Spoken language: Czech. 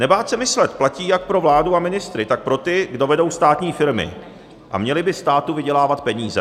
Nebát se myslet platí jak pro vládu a ministry, tak pro ty, kdo vedou státní firmy a měli by státu vydělávat peníze.